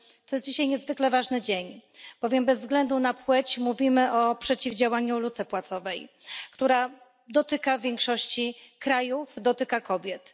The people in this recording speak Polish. Dzisiaj jest niezwykle ważny dzień, bowiem bez względu na płeć mówimy o przeciwdziałaniu luce płacowej, która dotyka większości krajów, dotyka kobiet.